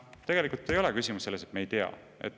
Küsimus ei ole selles, et me ei tea.